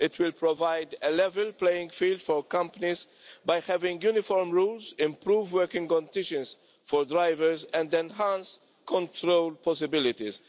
It will provide a level playing field for companies by having uniform rules, improved working conditions for drivers and enhanced control possibilities.